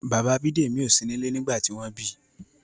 Bàbá Bidemi o sí nílé nígbà tí wón bi.